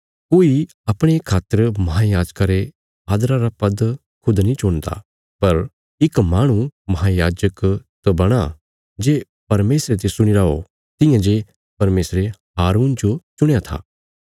कोई अपणे खातर महांयाजका रे आदरा रा पद खुद नीं चुणदा पर इक माहणु महांयाजक तां बणां जे परमेशरे तिस्सो चुणीरा ओ तियां जे परमेशरे हारून जो चुणया था